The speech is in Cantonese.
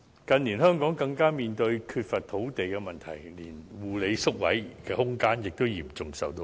近年，香港更面對缺乏土地的問題，護理宿位的空間嚴重受到限制。